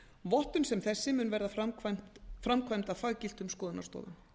vottun sem þessi mun verða framkvæmd af faggiltum skoðunarstofum